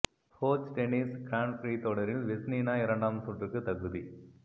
Forge tennis grand prix தொடரில் Vesnina இரண்டாம் சுற்றுக்கு தகுதி